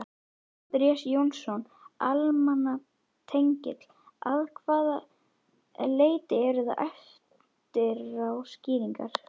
Andrés Jónsson, almannatengill: Að hvaða leyti eru það eftirá skýringar?